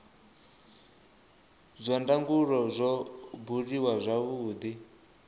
zwa ndangulo zwo buliwa zwavhudi